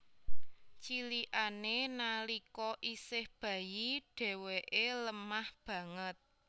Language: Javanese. Cilikané nalika isih bayi dhéwéké lemah banget